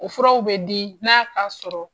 O furaw bɛ di n'a ka sɔrɔ.